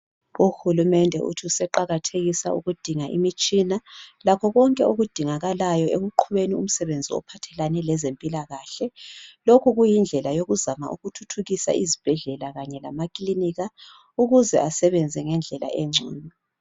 Uhulumende uthuseqakathekisa ukudinga imitshina lakho konke okudingakalayo ekuqhubeni umsebenzi ophathelane lezempilakahle lokhu kuyindlela yokuzama ukuthuthukisa izibhedlela kanye lamaklinika ukuze asebenze ngendlela engcono.